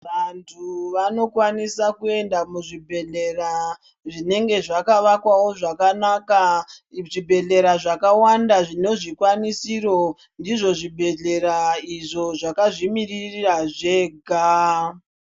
Vantu vanokwanisawo kuenda muzvibhedhlera zvinenge zvakavakwawo zvakanaka muzvibhedhlera zvakawanda mune zvikwanisiro ndizvo zvibhedhlera izvo zvakazvimirira zvega.